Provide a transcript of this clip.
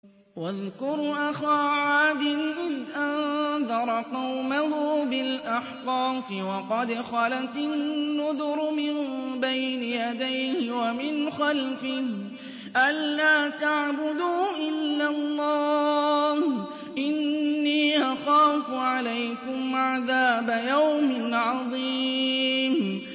۞ وَاذْكُرْ أَخَا عَادٍ إِذْ أَنذَرَ قَوْمَهُ بِالْأَحْقَافِ وَقَدْ خَلَتِ النُّذُرُ مِن بَيْنِ يَدَيْهِ وَمِنْ خَلْفِهِ أَلَّا تَعْبُدُوا إِلَّا اللَّهَ إِنِّي أَخَافُ عَلَيْكُمْ عَذَابَ يَوْمٍ عَظِيمٍ